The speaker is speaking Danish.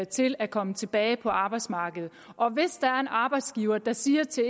til at komme tilbage på arbejdsmarkedet og hvis der er en arbejdsgiver der siger til